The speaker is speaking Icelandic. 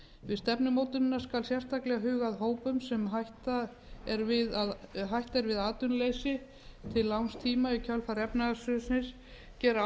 við stefnumótunina skal sérstaklega huga að hópum sem hætt er við atvinnuleysi til langs tíma í kjölfar efnahagshrunsins gera